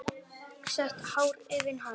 Sítt hár að aftan.